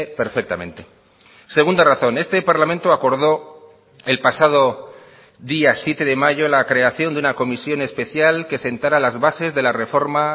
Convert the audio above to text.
perfectamente segunda razón este parlamento acordó el pasado día siete de mayo la creación de una comisión especial que sentara las bases de la reforma